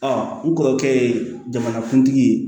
n kɔrɔkɛ ye jamanakuntigi ye